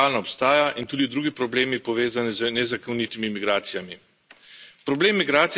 Zato balkanska pot realno obstaja in tudi drugi problemi, povezani z nezakonitimi migracijami.